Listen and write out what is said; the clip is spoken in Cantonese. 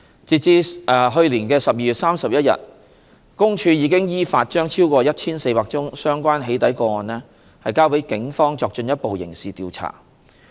截至2019年12月31日，公署已依法將超過 1,400 宗相關"起底"個案交予警方作進一步刑事調查。